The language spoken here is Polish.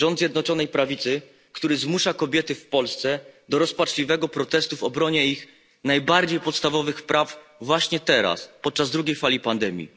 Rząd Zjednoczonej Prawicy, który zmusza kobiety w Polsce do rozpaczliwego protestu w obronie ich najbardziej podstawowych praw właśnie teraz, podczas drugiej fali pandemii.